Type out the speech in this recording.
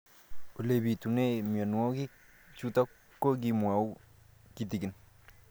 Ole pitune mionwek chutok ko kimwau kitig'�n